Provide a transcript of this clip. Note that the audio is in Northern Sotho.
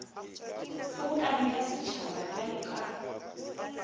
kgobokano ya setšhaba bjalo ka